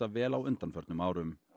vel á undanförnum árum